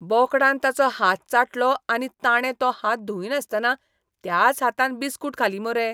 बोकडान ताचो हात चाटलो आनी ताणें तो हात धुंयनासतना त्याच हातान बिस्कूट खाली मुरे.